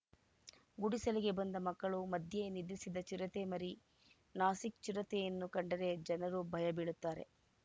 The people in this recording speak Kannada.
ಗುಡಿಸಲಿಗೆ ಬಂದು ಮಕ್ಕಳ ಮಧ್ಯೆ ನಿದ್ರಿಸಿದ ಚಿರತೆ ಮರಿ ನಾಸಿಕ್‌ ಚಿರತೆಯನ್ನು ಕಂಡರೆ ಜನರು ಭಯ ಬೀಳುತ್ತಾರೆ